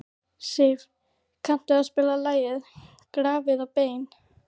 Siv, kanntu að spila lagið „Grafir og bein“?